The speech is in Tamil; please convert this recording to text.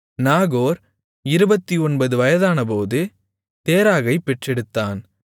நாகோர் 29 வயதானபோது தேராகைப் பெற்றெடுத்தான்